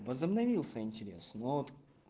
возобновился интересно но вот